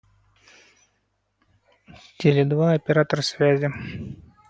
теле два оператор связи